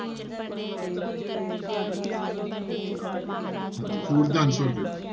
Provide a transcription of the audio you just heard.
ਹਾਂਜੀ four ਦਾ answer ਦਿਓ।